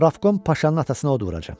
Pravkom Paşanın atasına od vuracam.